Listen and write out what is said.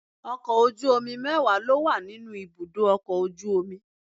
Ọkọ̀ ojú omi mẹ́wàá ló wà níbi ibùdó ọkọ̀ ojú omi.